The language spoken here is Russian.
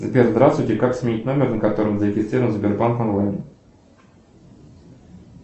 сбер здравствуйте как сменить номер на котором зарегистрирован сбербанк онлайн